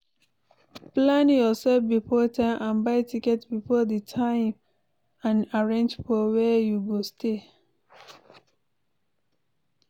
Plan yourself before time and buy tickets before di time and arrange for where you go stay